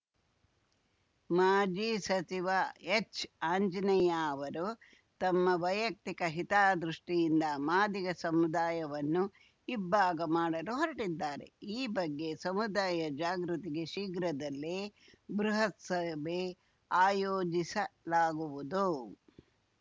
ಮಾಜಿ ಸಚಿವ ಎಚ್‌ಆಂಜನೇಯ ಅವರು ತಮ್ಮ ವೈಯಕ್ತಿಕ ಹಿತದೃಷ್ಟಿಯಿಂದ ಮಾದಿಗ ಸಮುದಾಯವನ್ನು ಇಬ್ಭಾಗ ಮಾಡಲು ಹೊರಟಿದ್ದಾರೆ ಈ ಬಗ್ಗೆ ಸಮುದಾಯ ಜಾಗೃತಿಗೆ ಶೀಘ್ರದಲ್ಲೇ ಬೃಹತ್‌ ಸಭೆ ಆಯೋಜಿಸಲಾಗುವುದು